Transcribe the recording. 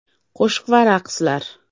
Qo‘shiq va raqslar.